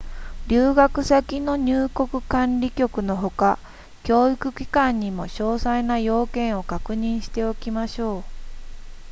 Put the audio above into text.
留学先の入国管理局のほか教育機関にも詳細な要件を確認しておきましょう